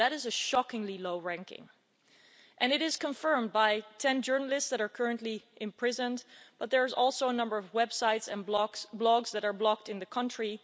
That is a shockingly low ranking and it is confirmed by the fact that 10 journalists are currently imprisoned, but there's also a number of websites and blogs that are blocked in the country.